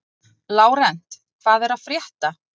Lárent, hvað er að frétta?